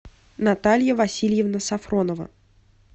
наталья васильевна сафронова